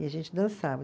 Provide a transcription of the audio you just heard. E a gente dançava.